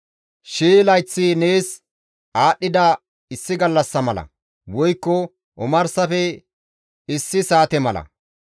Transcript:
Shii layththi nees aadhdhida issi gallassa mala; woykko omarsafe issi saate mala.